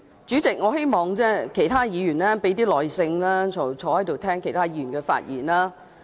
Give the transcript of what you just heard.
主席，我希望其他議員可以有多點耐性，坐在席上聆聽其他議員的發言。